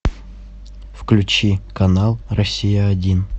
включи канал россия один